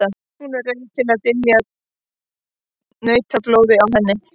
Hún er rauð til að dylja nautablóðið á henni.